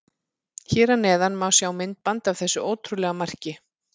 Hér að neðan má sjá myndband af þessu ótrúlega marki.